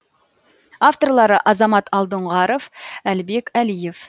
авторлары азамат алдоңғаров әлібек әлиев